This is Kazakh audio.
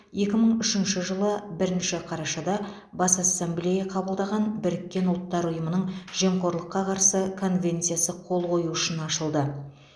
екі мың үшінші жылы бірінші қарашада бас ассамблея қабылдаған біріккен ұлттар ұйымының жемқорлыққа қарсы конвенциясы қол қою үшін ашылды